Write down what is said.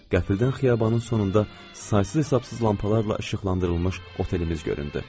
Qəfildən xiyabanın sonunda saysız-hesabsız lampalarla işıqlandırılmış otelimiz göründü.